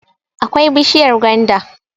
akwai bishiyar gwanda